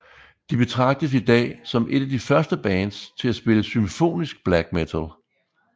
De betragtes i dag som et af de første bands til at spille symfonisk black metal